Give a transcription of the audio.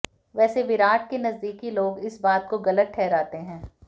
वैसे विराट के नजदीकी लोग इस बात को गलत ठहराते हैं